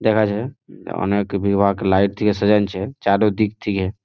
দেখা যায় অনেক বিবাক লাইট দিয়ে সাজাইনছে। চারু দিক থেকে--